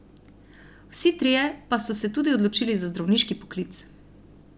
Vsi trije pa so se tudi odločili za zdravniški poklic.